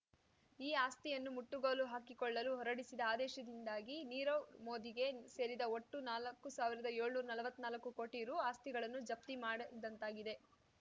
ಈ ಆಸ್ತಿಯನ್ನು ಮುಟ್ಟಗೋಲು ಹಾಕಿಕೊಳ್ಳಲು ಹೊರಡಿಸಿದ ಆದೇಶದಿಂದಾಗಿ ನೀರವ್‌ ಮೋದಿಗೆ ಸೇರಿದ ಒಟ್ಟು ನಾಲಕ್ಕು ಸಾವಿರ್ದಾಯೋಳ್ನೂರಾ ನಲ್ವತ್ನಾಲಕ್ಕು ಕೋಟಿ ರು ಆಸ್ತಿಗಳನ್ನು ಜಪ್ತಿ ಮಾಡದಂತಾಗಿದೆ